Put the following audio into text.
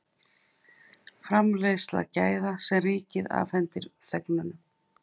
framleiðsla gæða sem ríkið afhendir þegnunum